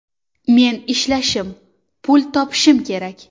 Men ishlashim, pul topishim kerak.